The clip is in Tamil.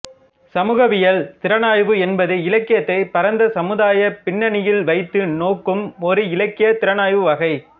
சமூகவியல் திறனாய்வு என்பது இலக்கியத்தைப் பரந்த சமுதாயப் பின்னணியில் வைத்து நோக்கும் ஒரு இலக்கியத் திறனாய்வு வகை